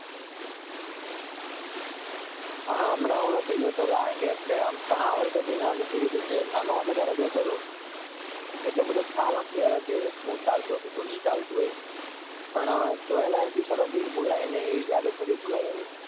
હાં હમણાં હું નથી જોતો કારણકે ઘણા વર્ષોથી મેં મૂકી દીધું છે નાનો હતો ત્યાર જોતો હતો એટલો બધો ખ્યાલ નથી શું ચાલે છે પણ જોવા લાયક episode હાજી ભુલાય નહિ